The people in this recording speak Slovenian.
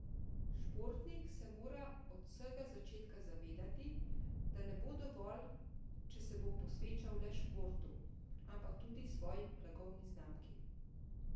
Športnik se mora od vsega začetka zavedati, da ne bo dovolj, če se bo posvečal le športu, ampak tudi svoji blagovni znamki.